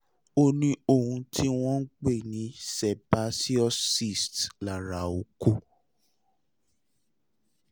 o ní ohun tí wọ́n ń pè ní sebeceous cyst lára okó